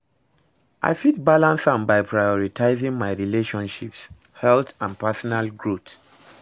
I fit balance am by prioritizing my relationships, health and personal growth.